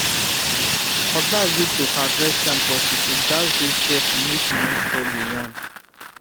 cutlass good to harvest yam but you go gatz dey careful make you no spoil the yam